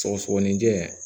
Sɔgɔsɔgɔninjɛ